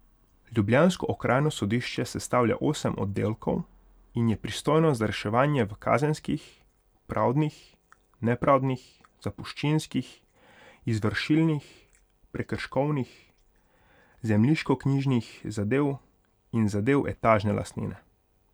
Ljubljansko okrajno sodišče sestavlja osem oddelkov in je pristojno za reševanje v kazenskih, pravdnih, nepravdnih, zapuščinskih, izvršilnih, prekrškovnih, zemljiškoknjižnih zadev in zadev etažne lastnine.